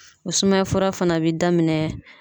O sumaya fura fana be daminɛ